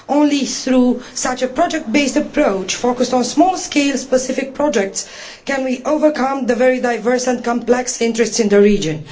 Only through such a project based approach, focused on small scale specific projects, can we overcome the issue of the very diverse and complex interests in the region.